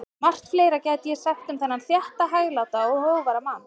Margt fleira gæti ég sagt um þennan þétta, hægláta og hógværa mann.